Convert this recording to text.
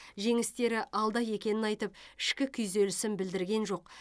жеңістері алда екенін айтып ішкі күйзелісін білдірген жоқ